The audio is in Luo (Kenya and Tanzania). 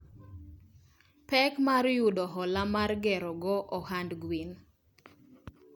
pek mar yudo hola mar gero go ohand gwen.